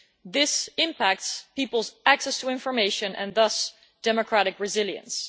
This impacts people's access to information and thus democratic resilience.